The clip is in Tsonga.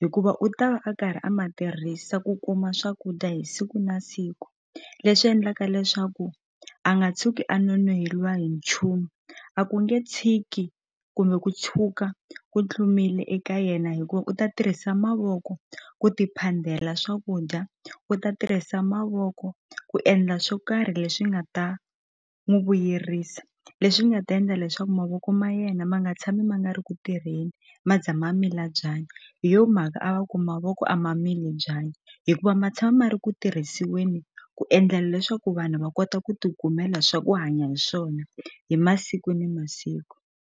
hikuva u ta va a karhi a ma tirhisa ku kuma swakudya hi siku na siku leswi endlaka leswaku a nga tshuki a nonoheliwa hi nchumu a ku nge tshiki kumbe ku tshuka ku tlumile eka yena hikuva u ta tirhisa mavoko ku ti phandela swakudya u ta tirhisa mavoko ku endla swo karhi leswi nga ta n'wu vuyerisa leswi nga ta endla leswaku mavoko ma yena ma nga tshami ma nga ri ku tirheni ma za ma mila byanyi hi yo mhaka a va ku mavoko a ma mili byanyi hikuva ma tshama ma ri ku tirhisiweni ku endlela leswaku vanhu va kota ku ti kumela swa ku hanya hi swona hi masiku ni masiku.